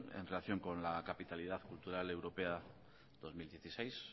en relación con la capitalidad cultural europea dos mil dieciséis